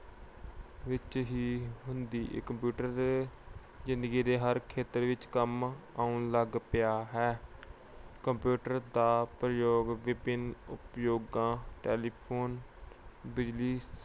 ਵਿੱਚ ਹੀ ਹੁੰਦੀ ਹੈ। computer ਜਿੰਦਗੀ ਦੇ ਹਰ ਖੇਤਰ ਵਿੱਚ ਕੰਮ ਆਉਣ ਲੱਗ ਪਿਆ ਹੈ। computer ਦੇ ਪ੍ਰਯੋਗ ਵਿਭਿੰਨ ਉਦਯੋਗਾਂ telephone ਬਿਜਲੀ